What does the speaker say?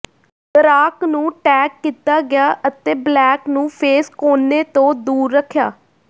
ਡਰਾਕ ਨੂੰ ਟੈਗ ਕੀਤਾ ਗਿਆ ਅਤੇ ਬਲੈਕ ਨੂੰ ਫੇਸ ਕੋਨੇ ਤੋਂ ਦੂਰ ਰੱਖਿਆ